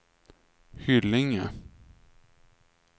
Hyllinge